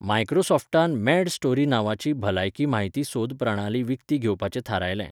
मायक्रोसॉफ्टान MedStory नांवाची भलायकी म्हायती सोद प्रणाली विकती घेवपाचें थारायलें.